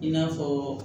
I n'a fɔ